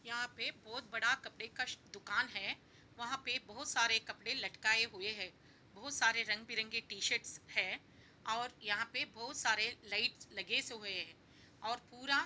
यहाँ पे बहोत बड़ा कपड़े का शो दुकान है वहाँ पे बहोत सारे कपड़े लटकाएं हुए हैं बहोत सारे रंग बिरंगे टी-शर्ट्स है और यहाँ पे बहोत सारे लाइट्स लगे से हुए हैं और पूरा --